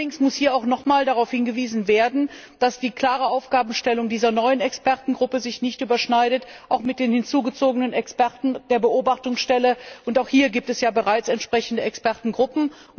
Allerdings muss hier auch nochmal darauf hingewiesen werden, dass die klare Aufgabenstellung dieser neuen Expertengruppe sich nicht mit den hinzugezogenen Experten der Beobachtungsstelle überschneidet auch hier gibt es ja bereits entsprechende Expertengruppen.